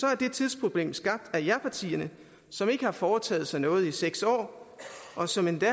er det tidsproblem skabt af japartierne som ikke har foretaget sig noget i seks år og som endda